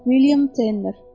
Milliam Tenner.